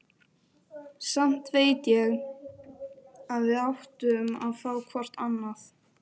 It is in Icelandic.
Samt veit ég að við áttum að fá hvort annað.